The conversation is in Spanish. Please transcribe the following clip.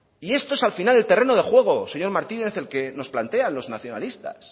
y esto es al final el terreno de juego señor martínez el que nos plantean los nacionalistas